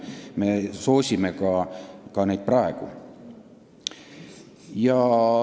Me soosime neid ka praegu.